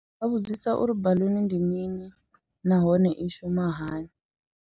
Ndi nga vhudzisa uri baluni ndi mini nahone i shuma hani.